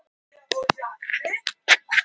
Hvar fær Diddi alltaf brennivín?